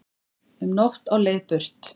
Um nótt á leið burt